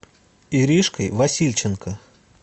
иришкой васильченко